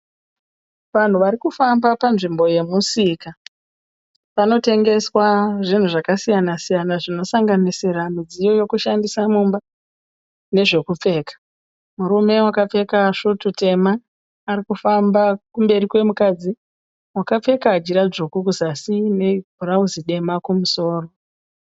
Vanhu varikufamba panzvimbo yemusika. Panotengeswa zvinhu zvakasiyana-siyana zvinosanganisira midziyo yekushandisa mumba nezvekupfeka. Murume wakapfeka svutu tema arikufamba kumberi kwemukadzi akapfeka jira dzvuku kuzasi nebhurauzi dema kumusoro.